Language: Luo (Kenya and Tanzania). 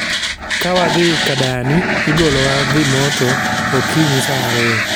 Ka wadhi ka dani, igolowa dhi moto okinyi sa ariyo